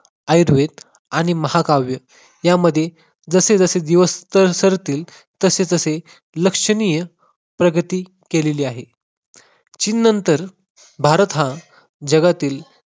आयुर्वेद आणि महाकाव्य यामध्ये जसेजसे दिवस तर सरतील तसे तसे लक्षणीय प्रगती केलेली आहे. चीन नंतर भारत हा जगातील